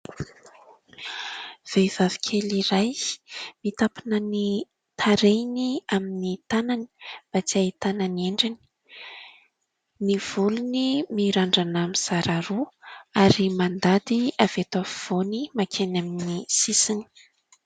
Vehivavy kely iray mitampina ny tarehiny amin'ny tanany mba tsy ahitana ny endriny, ny volony mirandrana mizara roa ary mandady avy eto afovoany makeny amin'ny sisiny.